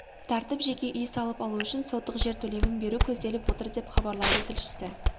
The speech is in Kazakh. тартып жеке үй салып алу үшін сотық жер телімін беру көзделіп отыр деп іабарлайды тілшісі